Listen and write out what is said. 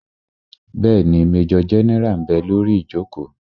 Bẹ́ẹ̀ni, majọ gẹ́nẹ́rà ḿ bẹ lórí ìjòkó